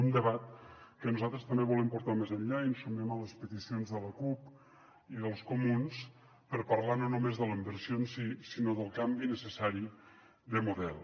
un debat que nosaltres també volem portar més enllà i ens sumem a les peticions de la cup i dels comuns per parlar no només de la inversió en si sinó del canvi necessari de model